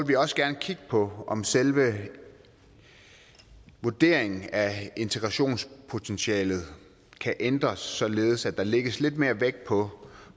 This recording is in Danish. vi også gerne kigge på om selve vurderingen af integrationspotentialet kan ændres således at der lægges lidt mere vægt på